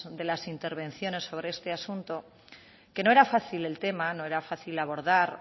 de las intervenciones sobre este asunto que no era fácil el tema no era fácil abordar